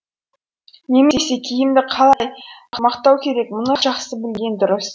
немесе кімді қалай мақтау керек мұны жақсы білген дұрыс